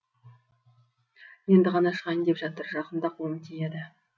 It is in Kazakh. енді ғана шығайын деп жатыр жақында қолым тиеді